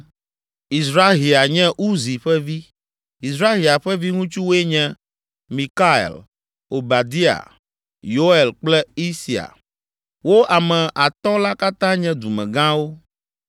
Izrahia nye Uzi ƒe vi. Izrahia ƒe viŋutsuwoe nye: Mikael, Obadia, Yoel kple Isia; wo ame atɔ̃ la katã nye dumegãwo.